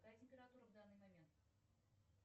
какая температура в данный момент